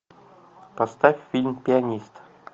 поставь фильм пианист